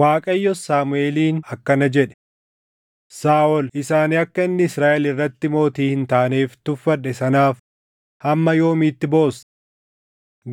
Waaqayyos Saamuʼeeliin akkana jedhe; “Saaʼol isa ani akka inni Israaʼel irratti mootii hin taaneef tuffadhe sanaaf hamma yoomiitti boossa?